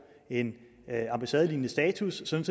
en ambassadelignende status sådan